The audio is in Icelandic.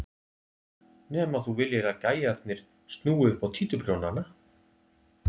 Nema þú viljir að gæjarnir snúi upp á títuprjónana!